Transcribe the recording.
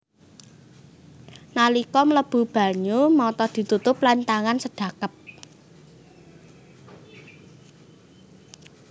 Nalika mlebu banyu mata ditutup lan tangan sedhakep